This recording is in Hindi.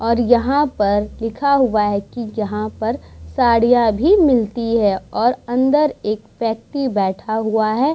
और यहाँ पर लिखा हुआ है की यहाँ पर साड़ीयां भी मिलती है और अंदर एक व्यक्ति भी बैठा हुआ है ।